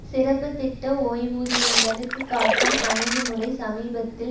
சிறப்பு திட்ட ஓய்வூதியங்களுக்கு காட்டும் அணுகுமுறை சமீபத்தில்